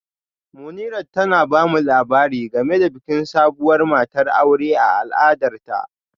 Munirat tana ba mu labari game da bikin sabuwar matar aure a al'adarta